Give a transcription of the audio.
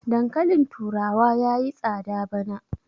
dankalin turawa ya yi tsada bana